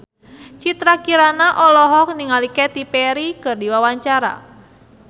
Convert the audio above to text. Citra Kirana olohok ningali Katy Perry keur diwawancara